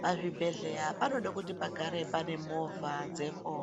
Pa zvibhedhlera panoda kuti pagare pane movha dzepo